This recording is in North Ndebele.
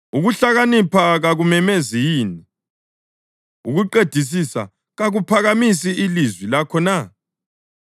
Ukuhlakanipha kakumemezi yini? Ukuqedisisa kakuphakamisi ilizwi lakho na?